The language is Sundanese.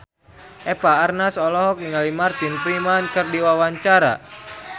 Eva Arnaz olohok ningali Martin Freeman keur diwawancara